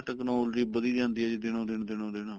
technology ਵੱਧੀ ਜਾਂਦੀ ਹੈ ਜੀ ਦਿਨੋ ਦਿਨ ਦਿਨੋ ਦਿਨ